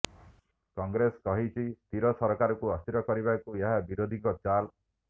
କଂଗ୍ରେସ କହିଛି ସ୍ଥିର ସରକାରକୁ ଅସ୍ଥିର କରିବାକୁ ଏହା ବିରୋଧୀଙ୍କ ଚାଲ୍